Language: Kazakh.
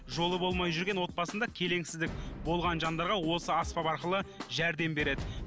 жолы болмай жүрген отбасында келеңсіздік болған жандарға осы аспап арқылы жәрдем береді